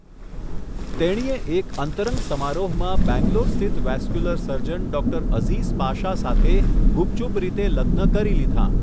તેણીએ એક અંતરંગ સમારોહમાં બેંગલોર સ્થિત વેસ્ક્યુલર સર્જન ડૉ. અઝીઝ પાશા સાથે ગુપચુપ રીતે લગ્ન કરી લીધાં.